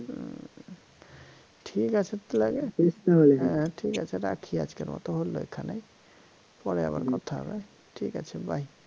হম ঠিকাছে তো হ্যা ঠিকাছে রাখি আজকের মত হল এখানে পরে আবার কথা হবে ঠিকাছে bye